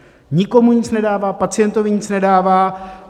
Nikomu nic nedává, pacientovi nic nedává.